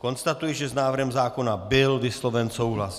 Konstatuji, že s návrhem zákona byl vysloven souhlas.